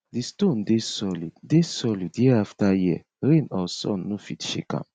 di stone dey solid dey solid year after year rain or sun no fit shake am